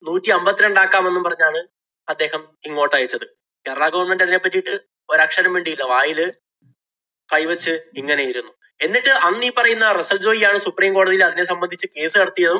നൂറ്റി അമ്പത്തിരണ്ടാക്കാമെന്നു പറഞ്ഞാണ് അദ്ദേഹം ഇങ്ങോട്ടയച്ചത്. കേരളാ government അതിനെ പറ്റീട്ട് ഒരക്ഷരം മിണ്ടീല. വായില് കൈവച്ച് ഇങ്ങനെ ഇരുന്നു. എന്നിട്ട് അന്നീപ്പറയുന്ന റസ്സല്‍ ജോയി ആണ് supreme കോടതിയില്‍ അതിനെ സംബന്ധിച്ച് case നടത്തിയതും,